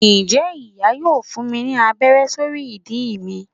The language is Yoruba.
njẹ iya yóò fún mí ní abère sorí ìdí mí